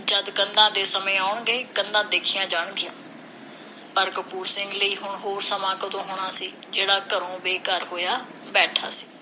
ਜਦ ਕੰਧਾਂ ਦੇ ਸਮੇਂ ਆਉਣਗੇ, ਕੰਧਾਂ ਦੇਖੀਆਂ ਜਾਣਗੀਆਂ। ਪਰ ਕਪੂਰ ਸਿੰਘ ਲਈ ਹੁਣ ਹੋਰ ਸਮਾਂ ਕਦੋਂ ਹੋਣਾ ਸੀ, ਜਿਹੜਾ ਘਰੋਂ ਬੇਘਰ ਹੋਇਆ ਬੈਠਾ ਸੀ।